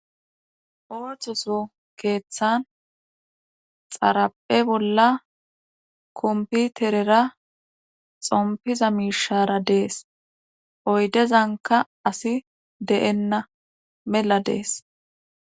Oohthoso keeththan xaraphe bolla komputerera xompiza miishara dees oydezanka asi de7enna mela dees.